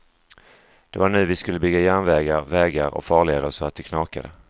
Det var nu vi skulle bygga järnvägar, vägar och farleder så att det knakade.